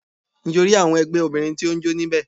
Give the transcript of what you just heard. Ǹ jẹ́ o rí àwọn ẹgbẹ́ Obìnrin tó n jó ní bẹ̀